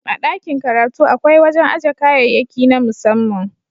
A dakin karatu akwai wajen aje kayayyaki na musamman.